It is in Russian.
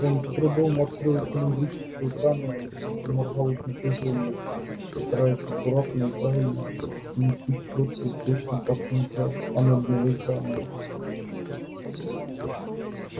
он с трудом открыл цилиндрическую камеру и заморгал от напряжения стараясь аккуратно и правильно поместить чётки точно по центру анодного экрана